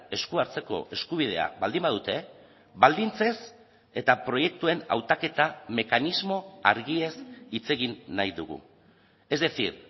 esku hartzeko eskubidea baldin badute baldintzez eta proiektuen hautaketa mekanismo argiez hitz egin nahi dugu es decir